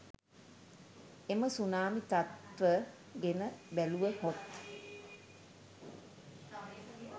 එම සුනාමි තත්ත්ව ගෙන බැලූවහොත්